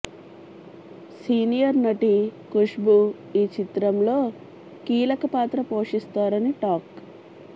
senior నటి ఖుష్భూ ఈ చిత్రంలో కీలక పాత్ర పోషిస్తారని టాక్